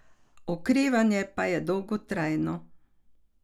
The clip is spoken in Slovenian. Okrevanje pa je dolgotrajno.